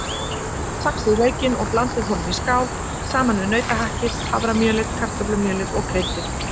Saxið laukinn og blandið honum í skál saman við nautahakkið, haframjölið, kartöflumjölið og kryddið.